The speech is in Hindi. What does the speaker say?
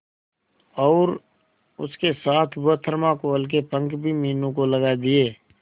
और उसके साथ वह थर्माकोल के पंख भी मीनू को लगा दिए